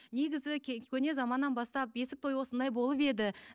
негізі көне заманнан бастап бесік той осындай болып еді